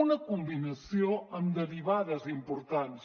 una combinació amb derivades importants